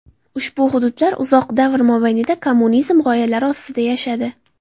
Ushbu hududlar uzoq davr mobaynida kommunizm g‘oyalari ostida yashadi.